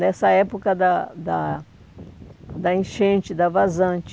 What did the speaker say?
Nessa época da da da enchente, da vazante.